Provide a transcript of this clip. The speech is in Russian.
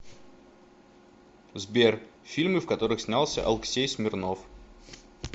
сбер фильмы в которых снялся алксей смирнов